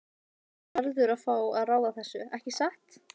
Matthías verður að fá að ráða þessu, ekki satt?